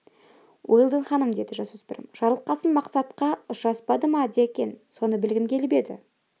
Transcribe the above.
уэлдон ханым деді жасөспірім жарылқасын мақсатқа ұшыраспады ма екен соны білгім келіп еді